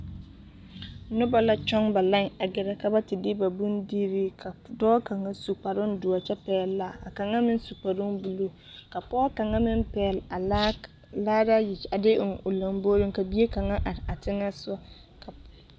Noba la kyoŋ ba lai a gɛre ka ba te de ba bondire ka dɔɔ kang su kpare doɔre kyɛ pɛle laa ka kang meŋ su kpare boluu ka pɔge kang meŋ pɛle a laare ayi a de eŋ o lamboroŋ ka bie kang meŋ are a teŋe sɔŋe.